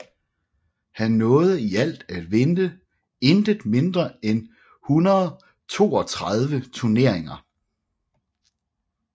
Han nåede i alt at vinde intet mindre end 132 turneringer